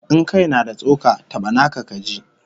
In kai na da tsoka, taba naka kaji!